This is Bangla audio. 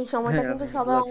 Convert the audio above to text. এই সময়টা কিন্তু সবার,